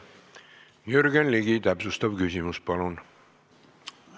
Jürgen Ligi, täpsustav küsimus, palun!